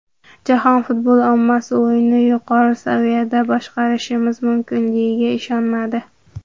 Jahon futbol ommasi o‘yinni yuqori saviyada boshqarishimiz mumkinligiga ishonmadi.